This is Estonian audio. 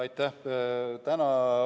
Aitäh!